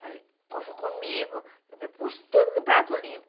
Falei, encontrou comigo, me pus tudo em um prato limpo.